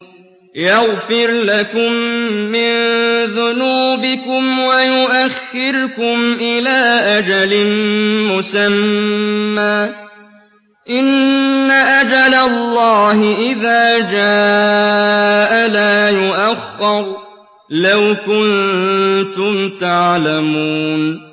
يَغْفِرْ لَكُم مِّن ذُنُوبِكُمْ وَيُؤَخِّرْكُمْ إِلَىٰ أَجَلٍ مُّسَمًّى ۚ إِنَّ أَجَلَ اللَّهِ إِذَا جَاءَ لَا يُؤَخَّرُ ۖ لَوْ كُنتُمْ تَعْلَمُونَ